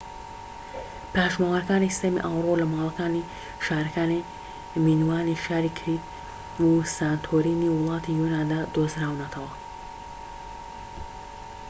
پاشماوەکانی سیستەمی ئاوەڕۆ لە ماڵەکانی شارەکانی مینۆانی شاری کریت و سانتۆرینی وڵاتی یۆناندا دۆزراونەتەوە